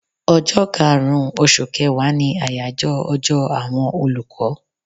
Ọjọ́ kaàrun oṣù kẹwàá ni àyájọ́ ọjọ́ àwọn olùkọ́